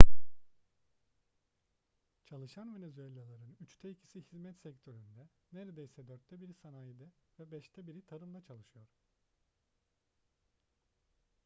çalışan venezuellalıların üçte ikisi hizmet sektöründe neredeyse dörtte biri sanayide ve beşte biri tarımda çalışıyor